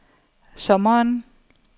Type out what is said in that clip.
sommeren